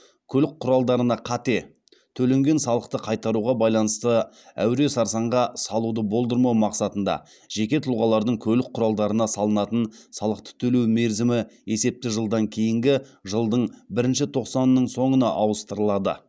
көлік құралдарына қате төленген салықты қайтаруға байланысты әуре сарсаңға салуды болдырмау мақсатында жеке тұлғалардың көлік құралдарына салынатын салықты төлеу мерзімі есепті жылдан кейінгі жылдың бірінші тоқсанының соңына ауыстырылады